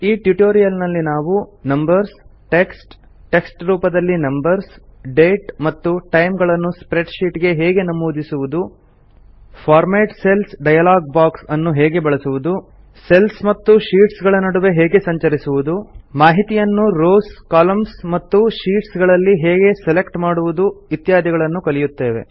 ಈ ಟ್ಯುಟೋರಿಯಲ್ ನಲ್ಲಿ ನಾವು ನಂಬರ್ಸ್ ಟೆಕ್ಸ್ಟ್ ಟೆಕ್ಸ್ಟ್ ರೂಪದಲ್ಲಿ ನಂಬರ್ಸ್ ಡೇಟ್ ಮತ್ತು ಟೈಮ್ ಗಳನ್ನು ಸ್ಪ್ರೆಡ್ ಶೀಟ್ ಗೆ ಹೇಗೆ ನಮೂದಿಸುವುದು ಫಾರ್ಮ್ಯಾಟ್ ಸೆಲ್ಸ್ ಡಯಾಲಾಗ್ ಬಾಕ್ಸ್ ಅನ್ನು ಹೇಗೆ ಬಳಸುವುದು ಸೆಲ್ಸ್ ಮತ್ತು ಶೀಟ್ಸ್ ಗಳ ನಡುವೆ ಹೇಗೆ ಸಂಚರಿಸುದು ಮಾಹಿತಿಯನ್ನು ರೋಸ್ ಕಾಲಮ್ಸ್ ಮತ್ತು ಶೀಟ್ಸ್ ಗಳಲ್ಲಿ ಹೇಗೆ ಸೆಲೆಕ್ಟ್ ಮಾಡುವುದು ಇತ್ಯಾದಿಗಳನ್ನು ಕಲಿಯುತ್ತೇವೆ